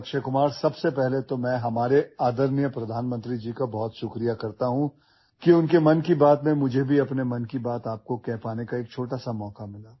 audio